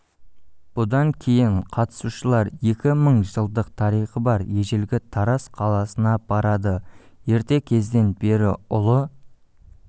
бұдан кейін қатысушылар екі мың жылдық тарихы бар ежелгі тараз қаласына барады ерте кезден бері ұлы